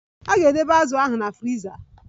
A ga-edebe azu ahụ na friza.